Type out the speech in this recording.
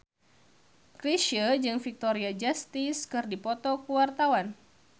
Chrisye jeung Victoria Justice keur dipoto ku wartawan